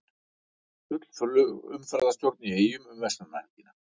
Full flugumferðarstjórn í Eyjum um verslunarmannahelgina